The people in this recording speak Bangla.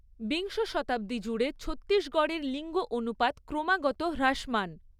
বিংশ শতাব্দী জুড়ে ছত্তিশগড়ের লিঙ্গ অনুপাত ক্রমাগত হ্রাসমান।